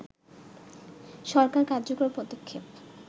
সরকার কার্যকর পদক্ষেপ